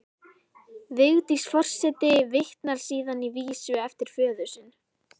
Vigdís forseti vitnar síðan í vísu eftir föður sinn: